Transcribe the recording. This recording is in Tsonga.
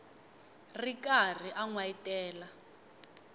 ri karhi a n wayitela